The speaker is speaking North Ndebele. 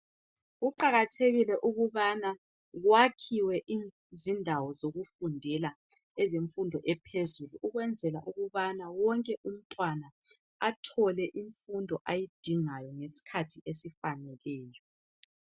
Kuqakathekile ukubana kwakhiwe izindawo zokufundela ezemfundo ephezulu . Ukwenzela ukubana wonke umntwana athole imfundo ayidingayo ngesikhathi esifaneleyo .